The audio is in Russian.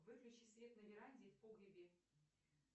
выключи свет на веранде и в погребе